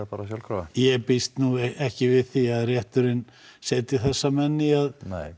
sjálfkrafa ég býst nú ekki við því að rétturinn setji þessa menn í að